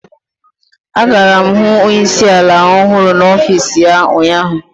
Agara m hụ onye isi ala ọhụrụ n'ọfịs ya ụnyaahụ.